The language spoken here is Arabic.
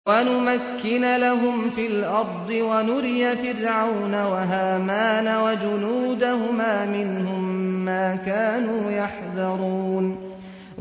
وَنُمَكِّنَ لَهُمْ فِي الْأَرْضِ وَنُرِيَ فِرْعَوْنَ وَهَامَانَ وَجُنُودَهُمَا مِنْهُم مَّا كَانُوا يَحْذَرُونَ